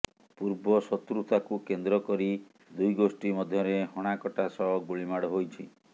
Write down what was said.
ପୂର୍ବ ଶତ୍ରୁତାକୁ କେନ୍ଦ୍ର କରି ଦୁଇ ଗୋଷ୍ଠୀ ମଧ୍ୟରେ ହଣାକଟା ସହ ଗୁଳିମାଡ ହୋଇଛି